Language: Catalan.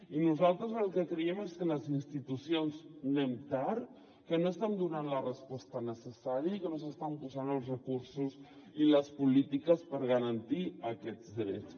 i nosaltres el que creiem és que les institucions anem tard que no estem donant la resposta necessària i que no s’estan posant els recursos i les polítiques per garantir aquests drets